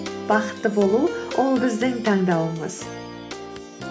бақытты болу ол біздің таңдауымыз